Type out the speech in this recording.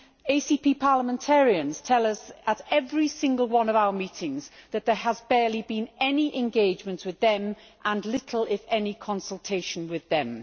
ACP parliamentarians tell us at every single one of our meetings that there has barely been any engagement with them and little, if any, consultation with them.